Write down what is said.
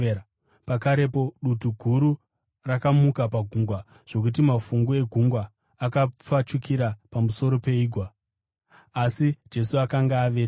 Pakarepo, dutu guru rakamuka pagungwa zvokuti mafungu egungwa akapfachukira pamusoro peigwa. Asi Jesu akanga avete.